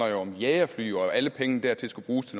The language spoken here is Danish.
jo om jagerfly og at alle pengene dertil skal bruges